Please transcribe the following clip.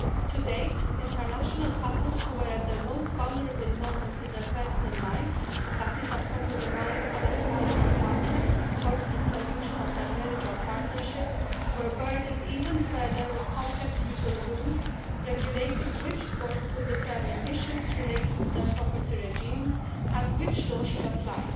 To date, international couples at their most vulnerable moments in their personal lives that is upon the demise of a spouse or partner, or the dissolution of their marriage or partnership have been burdened even further by complex legal rules regulating which courts could determine issues relating to their property regimes and which law should apply.